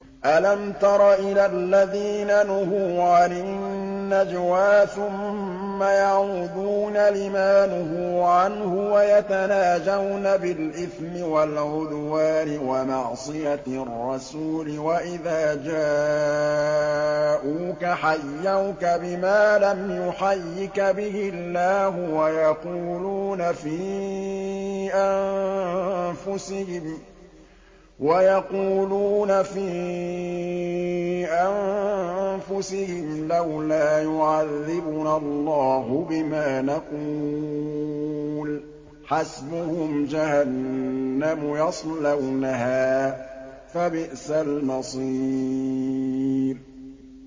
أَلَمْ تَرَ إِلَى الَّذِينَ نُهُوا عَنِ النَّجْوَىٰ ثُمَّ يَعُودُونَ لِمَا نُهُوا عَنْهُ وَيَتَنَاجَوْنَ بِالْإِثْمِ وَالْعُدْوَانِ وَمَعْصِيَتِ الرَّسُولِ وَإِذَا جَاءُوكَ حَيَّوْكَ بِمَا لَمْ يُحَيِّكَ بِهِ اللَّهُ وَيَقُولُونَ فِي أَنفُسِهِمْ لَوْلَا يُعَذِّبُنَا اللَّهُ بِمَا نَقُولُ ۚ حَسْبُهُمْ جَهَنَّمُ يَصْلَوْنَهَا ۖ فَبِئْسَ الْمَصِيرُ